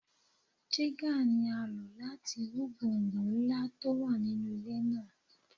Jígà ni á lò láti wú gbọ̀ǹgbọ̀ǹ ńlá tó wà nínú ilẹ̀ náà.